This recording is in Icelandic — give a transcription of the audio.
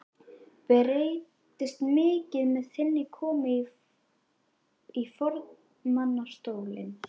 Breytist mikið með þinni komu í formannsstólinn?